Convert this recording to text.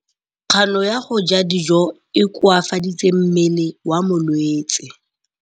Kganô ya go ja dijo e koafaditse mmele wa molwetse.